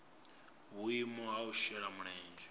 vhuimo ha u shela mulenzhe